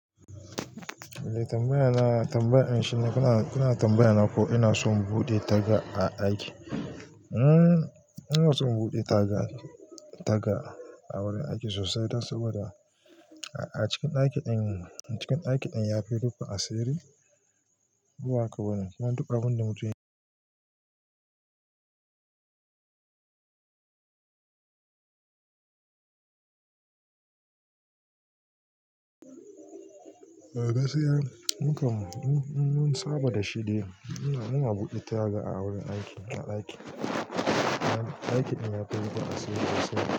Eh tambaya na, tambayan shine kana, kana tambaya na ko ina son buɗe taga a ɗaki? Hmm ina son buɗe taga, taga a wurin aiki sosai, dan saboda a cikin daki din, a cikin daki din ya fi rufin asiri. Ko ba haka bane? Kuma duk abunda mutum gaskiya mukan, mun saba da shi dai, muna buɗe taga a wurin aiki, a aiki. Aikin din ya fi rifin asiri gaskiya.